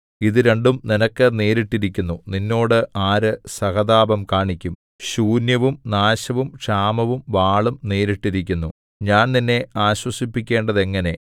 ഇതു രണ്ടും നിനക്ക് നേരിട്ടിരിക്കുന്നു നിന്നോട് ആര് സഹതാപം കാണിക്കും ശൂന്യവും നാശവും ക്ഷാമവും വാളും നേരിട്ടിരിക്കുന്നു ഞാൻ നിന്നെ ആശ്വസിപ്പിക്കേണ്ടതെങ്ങനെ